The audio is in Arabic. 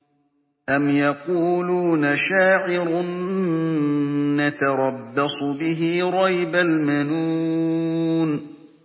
أَمْ يَقُولُونَ شَاعِرٌ نَّتَرَبَّصُ بِهِ رَيْبَ الْمَنُونِ